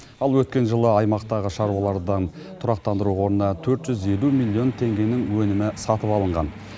ал өткен жылы аймақтағы шаруалардан тұрақтандыру қорына төрт жүз елу миллион теңгенің өнімі сатып алынған